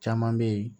Caman bɛ yen